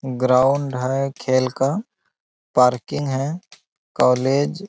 ground है खेल का पार्किंग हैं | कॉलेज --